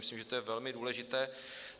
Myslím, že to je velmi důležité.